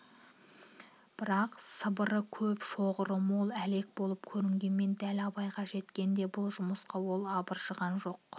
бірақ сыбыры көп шоғыры мол әлек болып көрінгенмен дәл абайға жеткенде бул жумыска ол абылжыған жоқ